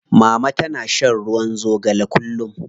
Mama tana shan ruwa zogale kullum.